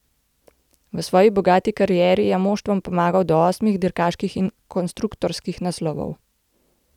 V svoji bogati karieri je moštvom pomagal do osmih dirkaških in konstruktorskih naslovov.